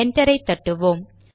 என்டரை தட்டுவோம்